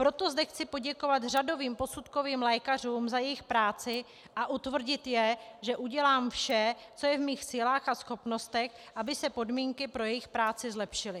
Proto zde chci poděkovat řadovým posudkovým lékařům za jejich práci a utvrdit je, že udělám vše, co je v mých silách a schopnostech, aby se podmínky pro jejich práci zlepšily.